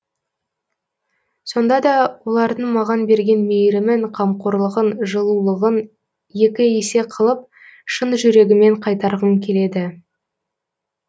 сондада олардың маған берген мейірімін қамқорлығын жылулығын екі есе қылып шын жүрегіммен қайтарғым келеді